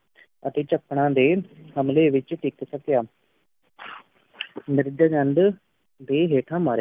ਅਤੀ ਚਕਰਾਂ ਦੇ ਹਮਲੇ ਵਿਚ ਟਿਕ ਸਕਿਆ ਮਿਰਜ਼ਾ ਦੀ ਹੇਠਾਂ